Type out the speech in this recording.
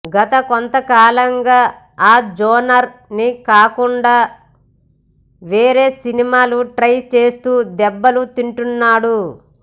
గత కొంత కాలంగా ఆ జోనర్ ని కాకుండా వేరే సినిమాలు ట్రై చేస్తూ దెబ్బలు తింటున్నాడు